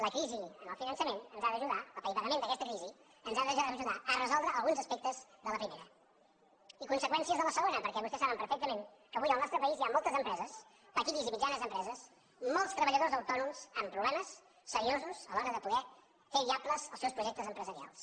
la crisi del finançament l’apaivagament d’aquesta crisi ens ha d’ajudar a re soldre alguns aspectes de la primera i conseqüències de la segona perquè vostès saben perfectament que avui al nostre país hi ha moltes empreses petites i mitjanes em preses molts treballadors autònoms amb problemes seriosos a l’hora de poder fer viables els seus projectes empresarials